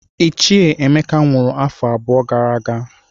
Ichie Emeka nwụrụ n'afọ abụọ gara aga